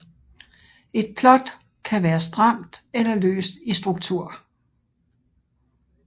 Et plot kan være stramt eller løst i struktur